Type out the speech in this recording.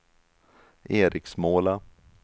Eriksmåla